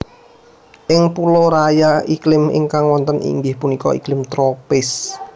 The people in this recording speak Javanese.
Ing pulo Raya iklim ingkang wonten inggih punika iklim tropis